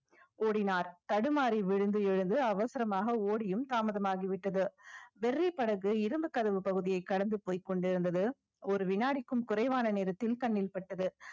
ஓடினார் தடுமாறி விழுந்து எழுந்து அவசரமாக ஓடியும் தாமதமாகிவிட்டது படகு இரும்பு கதவு பகுதியே கடந்து போய்க் கொண்டிருந்தது ஒரு வினாடிக்கும் குறைவான நேரத்தில் கண்ணில் பட்டது